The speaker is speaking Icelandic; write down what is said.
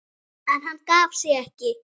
En hann gaf sig ekki.